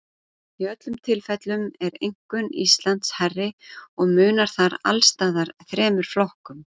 Í öllum tilfellum er einkunn Íslands hærri og munar þar alls staðar þremur flokkum.